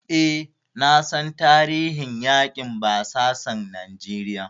E, na san tarihin yaƙin basasan Najeriya.